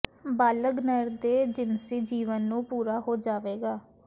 ਬਾਲਗ ਨਰ ਦੇ ਜਿਨਸੀ ਜੀਵਨ ਨੂੰ ਪੂਰਾ ਹੋ ਜਾਵੇਗਾ